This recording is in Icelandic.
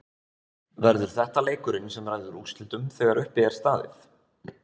Verður þetta leikurinn sem ræður úrslitum þegar uppi er staðið?